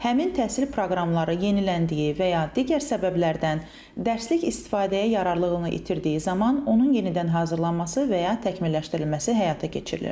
Həmin təhsil proqramları yeniləndiyi və ya digər səbəblərdən, dərslik istifadəyə yararlılığını itirdiyi zaman onun yenidən hazırlanması və ya təkmilləşdirilməsi həyata keçirilir.